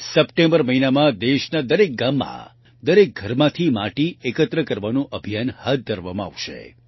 September મહિનામાં દેશના દરેક ગામમાં દરેક ઘરમાંથી માટી એકત્ર કરવાનું અભિયાન હાથ ધરવામાં આવશે